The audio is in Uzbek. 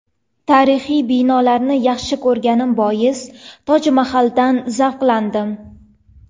Tarixiy binolarni yaxshi ko‘rganim bois Toj Mahaldan zavqlandim.